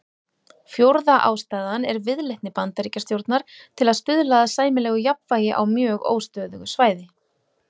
Fjórða ástæðan er viðleitni Bandaríkjastjórnar til að stuðla að sæmilegu jafnvægi á mjög óstöðugu svæði.